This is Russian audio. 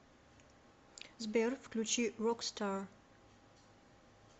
сбер включи рокстар